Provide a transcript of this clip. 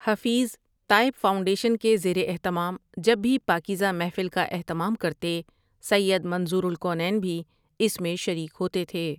Hafeez Taib foundation کے زیر اہتمام جب بھی پاکیزہ محفل کا اہتمام کرتے سید منظور الکونین بھی اس میں شریک ہوتے تھے ۔